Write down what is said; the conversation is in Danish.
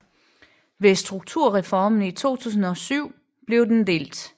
Ved strukturreformen i 2007 blev den delt